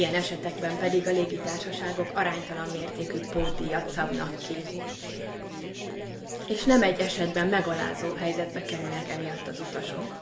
Ilyen esetekben pedig a légitársaságok aránytalan mértékű pótdíjat szabnak ki, és nem egy esetben megalázó helyzetbe kerülnek emiatt az utasok.